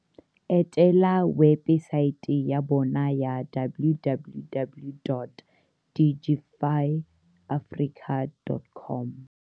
Etela webesaete ya bona ya www.digifyafrica dot com.